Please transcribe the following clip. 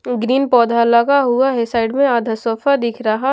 अम green पौधा लगा हुआ है साइड में आधा सोफा दिख रहा --